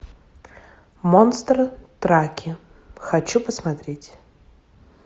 монстр траки хочу посмотреть